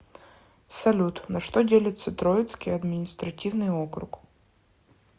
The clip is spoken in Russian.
салют на что делится троицкий административный округ